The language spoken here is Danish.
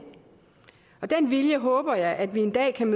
og den vilje håber jeg at vi en dag kan